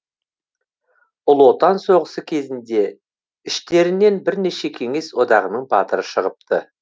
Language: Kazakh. ұлы отан соғысы кезінде іштерінен бірнеше кеңес одағының батыры шығыпты